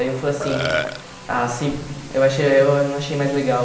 Aí eu falei ah assim, eu achei eu não achei mais legal.